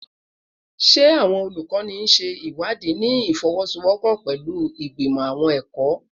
Ṣe awọn olukọni ṣe iwadii ni ifowosowopo pẹlu Igbimọ Awọn ẹkọ?